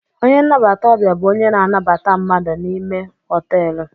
A receptionist is a person who welcome's people inside the hotel.